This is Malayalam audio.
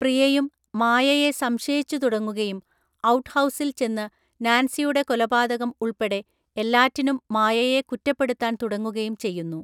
പ്രിയയും മായയെ സംശയിച്ചുതുടങ്ങുകയും ഔട്ട്ഹൗസിൽ ചെന്ന് നാൻസിയുടെ കൊലപാതകം ഉൾപ്പെടെ എല്ലാറ്റിനും മായയെ കുറ്റപ്പെടുത്താൻ തുടങ്ങുകയും ചെയ്യുന്നു.